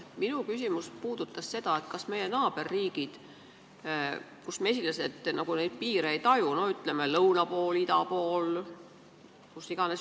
Minu küsimus puudutas seda, et mesilased nagu neid piire ei taju, ütleme, lõuna pool, ida pool, kus iganes.